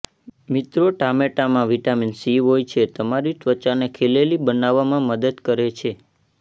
મિત્રો ટામેટામાં vitamin C હોય છે તમારી ત્વચાને ખીલેલી બનાવવામાં મદદ કરે છે